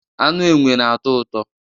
Anụ enwe na-atọ ụtọ